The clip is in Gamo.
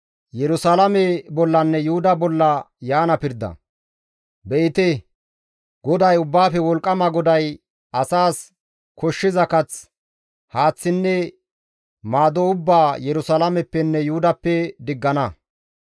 Be7ite, GODAY Ubbaafe Wolqqama GODAY asas koshshiza kath, haaththinne maado ubbaa Yerusalaameppenne Yuhudappe diggana.